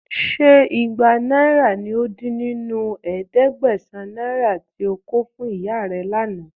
Ṣé igba náírà ní ó dín nínú ẹ̀ẹ́dẹ́gbẹ̀sán náírà tí ó kò fún ìyá rẹ̀ lánàá?